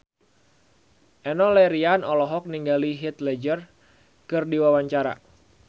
Enno Lerian olohok ningali Heath Ledger keur diwawancara